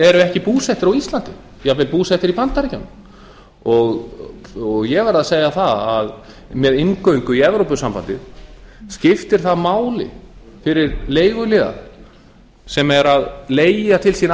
eru ekki búsettir á íslandi jafnvel búsettir í bandaríkjunum og ég verð að segja það að með inngöngu í evrópusambandið skiptir það máli fyrir leiguliða sem er að leigja til sín